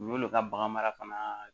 U y'olu ka bagan mara fana